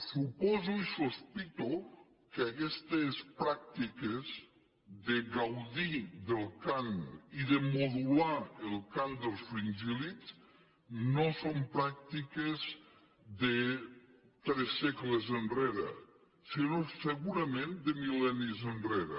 suposo i sospito que aquestes pràctiques de gaudir del cant i de modular el cant dels fringíl·lids no són pràctiques de tres segles enrere sinó segurament de mil·lennis enrere